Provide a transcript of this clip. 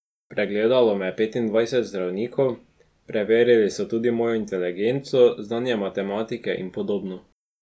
Pregledalo me je petindvajset zdravnikov, preverili so tudi mojo inteligenco, znanje matematike in podobno.